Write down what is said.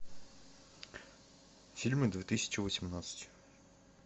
фильмы две тысячи восемнадцать